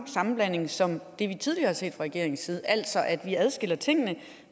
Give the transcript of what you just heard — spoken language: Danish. sammenblanding som det vi tidligere har set fra regeringens side altså at vi adskiller tingene